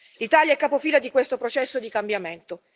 L'Italia è capofila di questo processo di cambiamento.